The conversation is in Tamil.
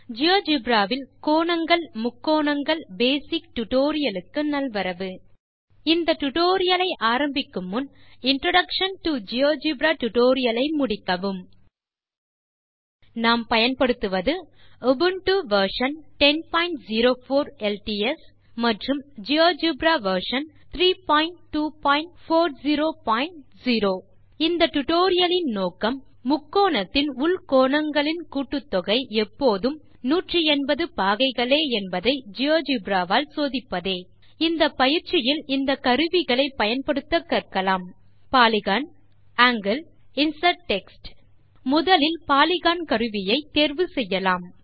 ஜியோஜெப்ரா வில் கோணங்கள் முக்கோணங்கள் பேசிக்ஸ் டியூட்டோரியல் க்கு நல்வரவு இந்த டியூட்டோரியல் ஐ ஆரம்பிக்கும் முன் இன்ட்ரோடக்ஷன் டோ ஜியோஜெப்ரா டியூட்டோரியல் ஐ முடிக்கவும் நாம் பயன்படுத்துவது உபுண்டு வெர்ஷன் 1004 எல்டிஎஸ் மற்றும் ஜியோஜெப்ரா வெர்ஷன் 32400 இந்த டியூட்டோரியல் இன் நோக்கம் முக்கோணத்தின் உள் கோணங்களின் கூட்டுத்தொகை எப்போதும் 180 பாகைகளே என்பதை ஜியோஜெப்ரா வால் சோதிப்பதே இந்தப் பயிற்சியில் இந்த கருவிகளை பயன்படுத்த கற்கலாம் பாலிகன் ஆங்கில் இன்சர்ட் டெக்ஸ்ட் முதலில் பாலிகன் கருவியை தேர்வு செய்யலாம்